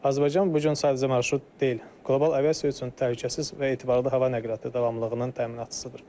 Azərbaycan bu gün sadəcə marşrut deyil, qlobal aviasiya üçün təhlükəsiz və etibarlı hava nəqliyyatı davamlılığının təminatçısıdır.